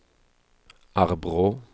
Arbrå